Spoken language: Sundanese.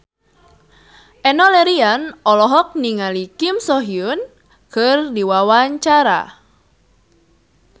Enno Lerian olohok ningali Kim So Hyun keur diwawancara